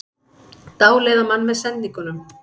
Dáleiða mann með sendingunum